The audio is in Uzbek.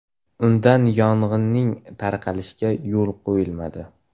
Undan yong‘inning tarqalishiga yo‘l qo‘yilmadi.